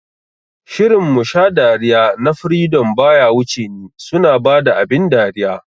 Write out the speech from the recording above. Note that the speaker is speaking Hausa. Shirin "Musha dariya" na freedom baya wuce ni, suna bada abin dariya